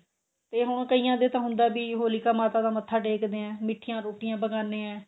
ਤੇ ਹੁਣ ਕਈਆਂ ਦੇ ਤਾਂ ਹੁੰਦਾ ਵੀ ਹੋਲੀਕਾ ਮਾਤਾ ਦਾ ਮੱਥਾ ਟੇਕਦੇ ਆਂ ਮਿੱਠੀਆਂ ਰੋਟੀਆਂ ਪਕਾਂਦੇ ਆਂ